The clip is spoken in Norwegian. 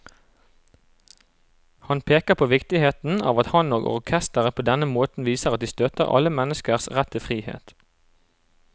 Han peker på viktigheten av at han og orkesteret på denne måten viser at de støtter alle menneskers rett til frihet.